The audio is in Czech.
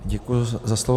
Děkuji za slovo.